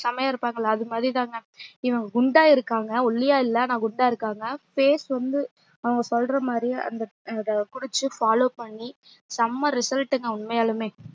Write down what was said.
செம்மையா இருப்பாங்களா அதுமாறி தான்ங்க இவங்க குண்டா இருக்காங்க ஒல்லியா இல்ல ஆனா குண்டா இருக்காங்க face வந்து அவங்க சொல்றமாறி அந்த அத குடிச்சு follow பண்ணி சம result ங்க உண்மையாலுமே